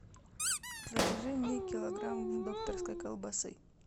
закажи мне килограмм докторской колбасы